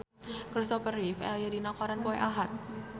Kristopher Reeve aya dina koran poe Ahad